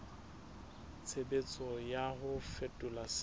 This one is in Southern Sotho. tshebetso ya ho fetola se